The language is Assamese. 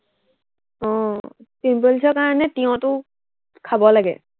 আহ pimples ৰ কাৰনে তিয়হটো খাব লাগে।